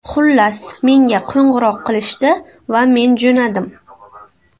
Xullas, menga qo‘ng‘iroq qilishdi va men jo‘nadim.